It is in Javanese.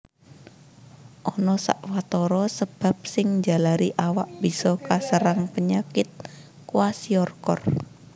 Ana sawatara sabab sing njalari awak bisa kaserang penyakit kwashiorkor